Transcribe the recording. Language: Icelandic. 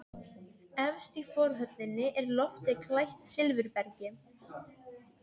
Efst í forhöllinni er loftið klætt silfurbergi.